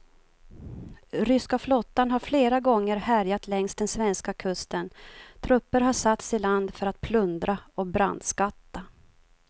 Ryska flottan har flera gånger härjat längs den svenska kusten, trupper har satts i land för att plundra och brandskatta.